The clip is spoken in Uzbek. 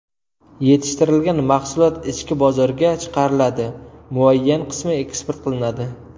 Yetishtirilgan mahsulot ichki bozorga chiqariladi, muayyan qismi eksport qilinadi.